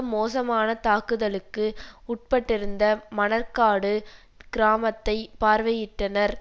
மோசமான தாக்குதலுக்கு உட்பட்டிருந்த மணற்காடு கிராமத்தை பார்வையிட்டனர்